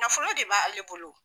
Nafolo de b'ale bolo.